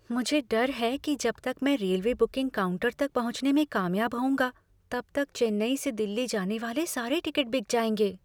मुझे डर है कि जब तक मैं रेलवे बुकिंग काउंटर तक पहुँचने में कामयाब होऊँगा तब तक चेन्नई से दिल्ली जाने वाले सारे टिकट बिक जाएंगे।